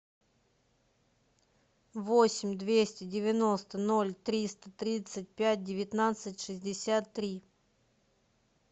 восемь двести девяносто ноль триста тридцать пять девятнадцать шестьдесят три